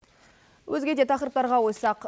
өзге де тақырыптарға ойыссақ